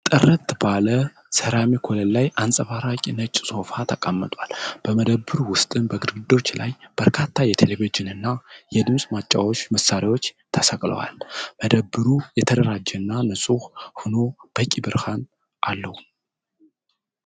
ጥራት ባለው ሰራሚክ ወለል ላይ አንጸባራቂ ነጭ ሶፋ ተቀምጧል፡፡ በመደብሩ ውስጥ በግድግዳዎች ላይ በርካታ የቴሌቪዥንና የድምፅ ማጫወቻ መሣሪያዎች ተሰቅለዋል፡፡ መደብሩ የተደራጀና ንፁህ ሆኖ በቂ ብርሃን አለው፡፡